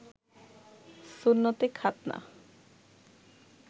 সুন্নতে খাতনা